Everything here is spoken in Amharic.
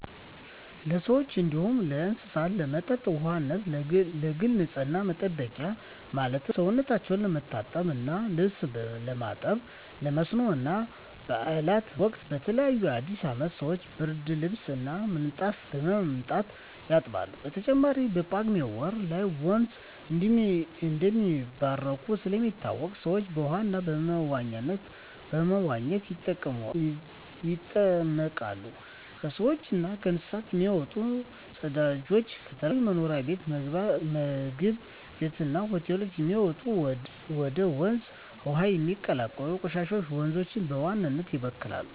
ለሰዎች እንዲሁም ለእስሳት ለመጠጥ ውሃነት፣ ለግል ንፅህና መጠበቂያ ማለትም ሰውነታቸው ለመታጠብ እና ልብስ ለማጠብ፣ ለመስኖ እና ባእላት ወቅት በተለይ በአዲስ አመት ሰወች ብርድልብስ እና ምንጣፍ በማምጣት ያጥባሉ። በተጨማሪም በጳጉሜ ወር ላይ ወንዞች እንደሚባረኩ ስለሚታመን ሰወች በውሃው በመዋኘት ይጠመቃሉ። ከሰውች እና ከእንስሳት የሚወጡ ፅዳጆች፣ ከተለያዩ መኖሪያ ቤት ምግብ ቤት እና ሆቴሎች የሚወጡ እና ወደ ውሀው የሚቀላቀሉ ቆሻሻወች ወንዞችን በዋናነት ይበክላሉ።